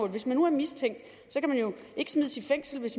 hvis man nu er mistænkt kan man jo ikke smides i fængsel hvis